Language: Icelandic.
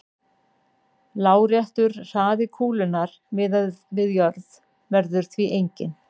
Láréttur hraði kúlunnar miðað við jörð verður því enginn.